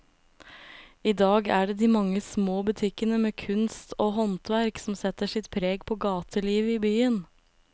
I dag er det de mange små butikkene med kunst og håndverk som setter sitt preg på gatelivet i byen.